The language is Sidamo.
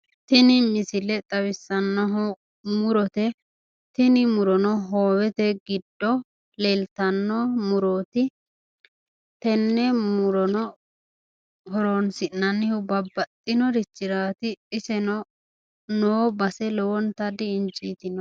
Tini misile xawissannohu murote. Tini murono hoowete giddo leeltanno murooti. Tenne murono horoonsi'nannihu babbaxxinorichiraati. Iseno noo base lowontanni injiitinote.